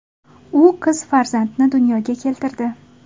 U qiz farzandni dunyoga keltirdi.